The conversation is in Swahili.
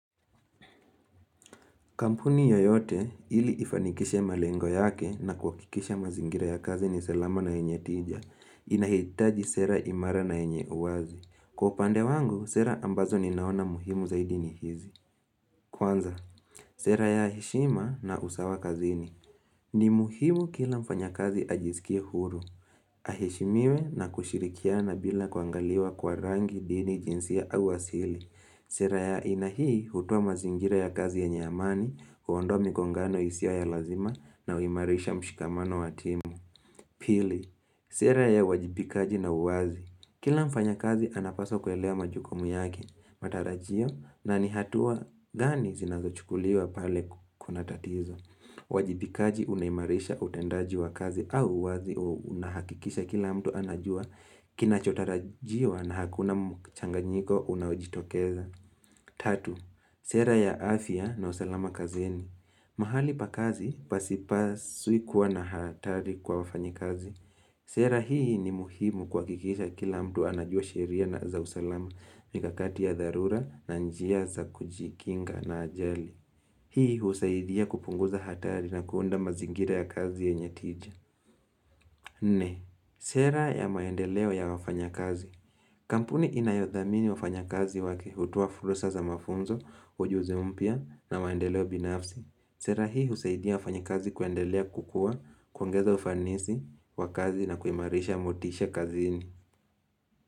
Kampuni yoyote ili ifanikishe malengo yake na kuhakikisha mazingira ya kazi ni salama na yenye tija. Inahitaji sera imara na yenye uwazi. Kwa upande wangu, sera ambazo ninaona muhimu zaidini hizi. Kwanza, sera ya heshima na usawa kazini. Ni muhimu kila mfanya kazi ajisikie huru. Aheshimiwe na kushirikiana bila kuangaliwa kwa rangi dini jinsia au asili. Sera ya aina hii hutoa mazingira ya kazi yenye amani, huondoa mikongano isiyo ya lazima na huimarisha mshikamano watimu. Pili, sera ya uwajibikaji na uwazi. Kila mfanya kazi anapaswa kuelewa majukumu yaki, matarajio na nihatua gani zinazo chukuliwa pale kuna tatizo. Uwajibikaji unaimarisha utendaji wa kazi au uwazi unahakikisha kila mtu anajua. Kina chotarajiwa na hakuna mchanganyiko unaojitokeza. 3. Sera ya afya na usalama kazini. Mahali pa kazi pasipaswi kuwa na hatari kwa wafanya kazi. Sera hii ni muhimu kuhakikisha kila mtu anajua sheria na za usalama mikakati ya dharura na njia za kujikinga na ajali. Hii husaidia kupunguza hatari na kuunda mazingira ya kazi yenye tija. Nne, sera ya maendeleo ya wafanya kazi. Kampuni inayothamini wafanya kazi wake hutoa fursa za mafunzo, ujuzi mpya na maendeleo binafsi. Sera hii husaidia wafanya kazi kuendelea kukua, kuongeza ufanisi, wa kazi na kuimarisha motisha kazini.